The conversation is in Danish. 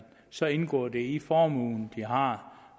så indgår det i den formue man har